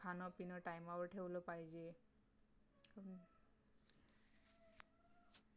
खाणं पिणं TIME वर ठेवला पाहिजे